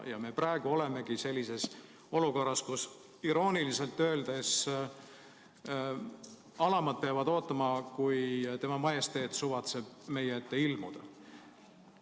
Ja praegu me oleme sellises olukorras, kus irooniliselt öeldes alamad peavad ootama, kuni Tema Majesteet suvatseb meie ette ilmuda.